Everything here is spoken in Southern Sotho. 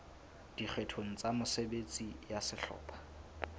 dikgeong tsa mesebetsi ya sehlopha